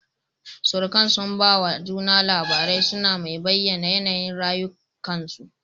Surukan sun ba wa juna labarai suna mai bayyana yanayin rayukan su